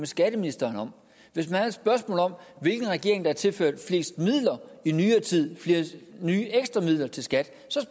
skatteministeren om hvis man har et spørgsmål om hvilken regering der har tilført flest midler i nyere tid flere nye ekstra midler til skat så